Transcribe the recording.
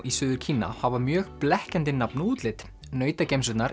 í Suður Kína hafa mjög blekkjandi nafn og útlit